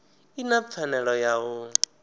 i na pfanelo ya u